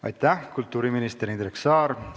Aitäh, kultuuriminister Indrek Saar!